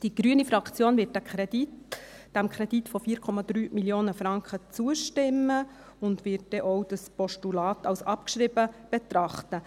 Die Fraktion Grüne wird diesem Kredit von 4,3 Mio. Franken zustimmen und wird auch das Postulat als abgeschrieben betrachten.